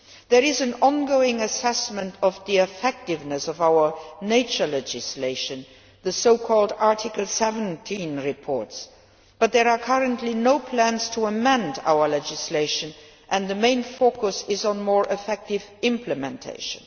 There is an ongoing assessment of the effectiveness of our nature legislation the so called Article 17 reports but there are currently no plans to amend our legislation, and the main focus is on more effective implementation.